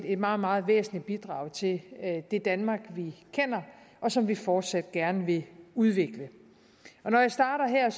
et meget meget væsentligt bidrag til det det danmark vi kender og som vi fortsat gerne vil udvikle når jeg starter her